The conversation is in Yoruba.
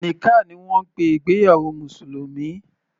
Nikkah ni wọ́n ń pe ìgbéyàwó mùsùlùmí.